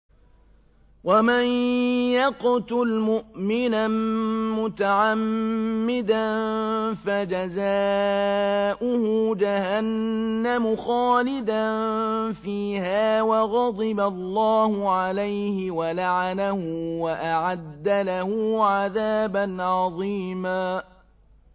وَمَن يَقْتُلْ مُؤْمِنًا مُّتَعَمِّدًا فَجَزَاؤُهُ جَهَنَّمُ خَالِدًا فِيهَا وَغَضِبَ اللَّهُ عَلَيْهِ وَلَعَنَهُ وَأَعَدَّ لَهُ عَذَابًا عَظِيمًا